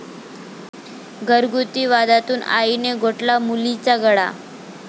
घरगुती वादातून आईने घोटला मुलीचा गळा